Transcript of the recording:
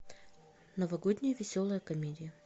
новогодняя веселая комедия